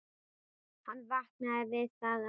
Hann vaknaði við það að